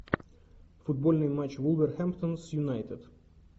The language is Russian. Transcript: футбольный матч вулверхэмптон с юнайтед